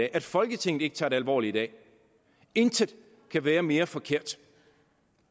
at folketinget ikke tager det alvorligt i dag intet kan være mere forkert